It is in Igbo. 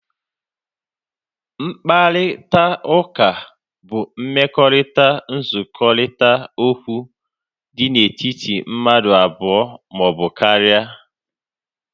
Mkparịta ụka bụ mmekọrita nzukọrita okwu dị na etiti mmadụ abụọ maọbụ karịa